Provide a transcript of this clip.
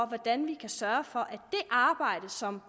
hvordan vi kan sørge for at det arbejde som